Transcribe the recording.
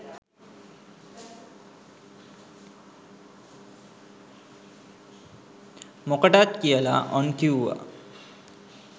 මොකටත් කියාලා.ඔන් කිව්ව.